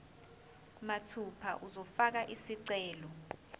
mathupha uzofaka isicelo